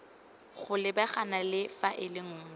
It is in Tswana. go lebagana le faele nngwe